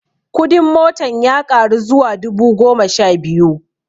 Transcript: Kudin motan ya ƙaru zuwa dubu goma sha biyu